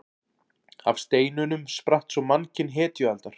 Af steinunum spratt svo mannkyn hetjualdar.